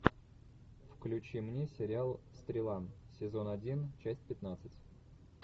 включи мне сериал стрела сезон один часть пятнадцать